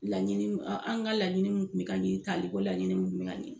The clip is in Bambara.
Laɲininw an ka laɲinin mun kun bɛ ka ɲin taaleko laɲinin nunnu kun bɛ yan den.